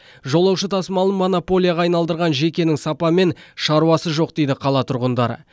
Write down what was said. жолаушы тасымалын монополияға айналдырған жекенің сапамен шаруасы жоқ дейді қала тұрғындары